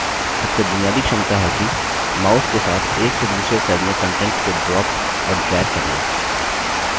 सबसे बुनियादी क्षमता है कि mouse के साथ एक से दूसरे cell में contents को drop और drag करना